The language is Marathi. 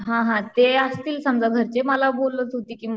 हा हा समजा घरचे मला बोलत होती कि